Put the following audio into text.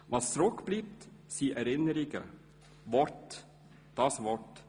Was zurückbleibt, sind Erinnerungen, Worte, das Wort.